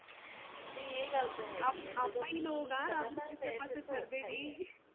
ਆਪਾ ਹੀ ਲੋਕ ਆ ਰੱਬ ਨੂੰ ਕਿਸੇ ਪਾਸੇ ਛੱਡਦੇ ਨਹੀਂ